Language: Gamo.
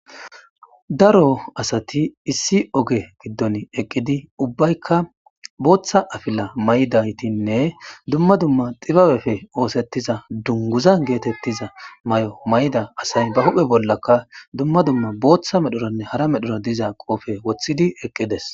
Daro asati issi oge giddon eqqidi ubbaykka booththa afila may'daytinne dumma dumma xibabefe oosettiza dunguzan geetettiza may'o may'da asay ba huphe bollakka dumma dumma booththa medhoranne hara medhora diza qoofe woththidi eqqides.